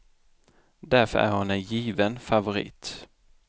Därför är hon en given favorit.